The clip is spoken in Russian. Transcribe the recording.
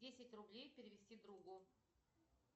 десять рублей перевести другу